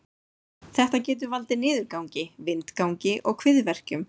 Þetta getur valdið niðurgangi, vindgangi og kviðverkjum.